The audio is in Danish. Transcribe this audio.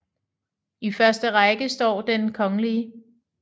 I første række står Den kgl